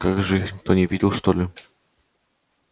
как же их никто не видел что ли